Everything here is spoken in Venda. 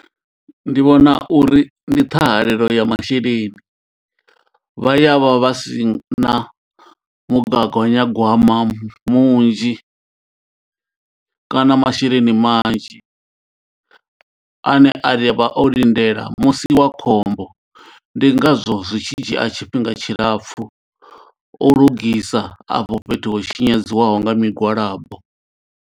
Ndi vhona uri ndi ṱhahalelo ya masheleni vha ya vha vha si na gwama munzhi kana masheleni manzhi ane avha o lindela musi wa khombo ndi ngazwo zwi tshi dzhia tshifhinga tshilapfhu u lugisa afho fhethu ho tshinyadziwa nga migwalabo.